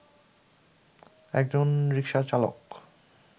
একজন রিকশাচালক